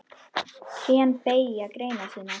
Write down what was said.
Trén beygja greinar sínar.